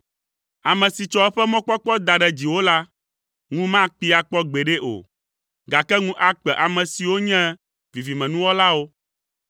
Ame si tsɔ eƒe mɔkpɔkpɔ da ɖe dziwò la, ŋu makpee akpɔ gbeɖe o; gake ŋu akpe ame siwo nye vivimenuwɔlawo.